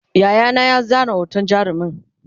Yayana ya zana hoton jarumin